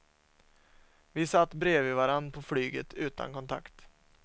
Vi satt bredvid varann på flyget utan kontakt.